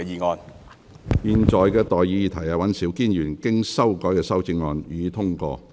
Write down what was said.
我現在向各位提出的待議議題是：尹兆堅議員經修改的修正案，予以通過。